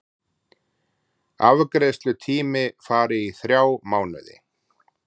Afgreiðslutími fari í þrjá mánuði